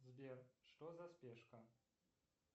сбер что за спешка